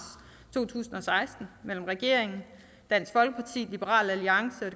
to tusind og seksten mellem regeringen dansk folkeparti liberal alliance og